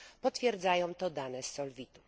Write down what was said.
Potwierdzają to dane z Solvitu.